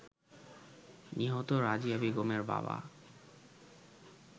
নিহত রাজিয়া বেগমের বাবা